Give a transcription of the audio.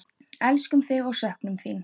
Elskum þig og söknum þín.